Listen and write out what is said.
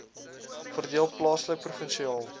verdeel plaaslik provinsiaal